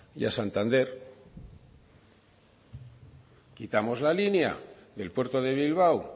y a santander quitamos la línea del puerto de bilbao